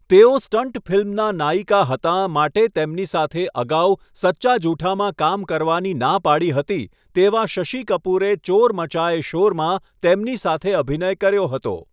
તેઓ 'સ્ટંટ ફિલ્મનાં નાયિકા' હતાં માટે તેમની સાથે અગાઉ 'સચ્ચા જુઠા' માં કામ કરવાની ના પાડી હતી તેવા શશિ કપૂરે 'ચોર મચાયે શોર' માં તેમની સાથે અભિનય કર્યો હતો.